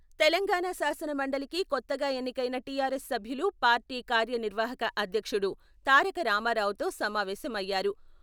తెలంగాణ శాసన మండలికి కొత్తగా ఎన్నికయిన టీఆర్ఎస్ సభ్యులు పార్టీ కార్యనిర్వాహక అధ్యక్షుడు తారక రామారావుతో సమావేశం అయ్యారు.